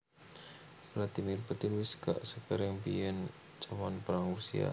Vladimir Putin wes gak sekereng biyen jaman perang Rusia